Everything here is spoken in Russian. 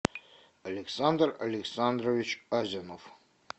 александр александрович азинов